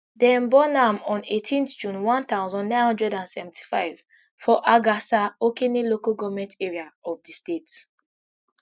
dem born am on eighteenth june one thousand, nine hundred and seventy-five for agasa okene local government area of di state